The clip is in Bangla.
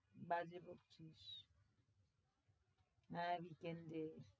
বাজে বকছিস হ্যাঁ week end এ,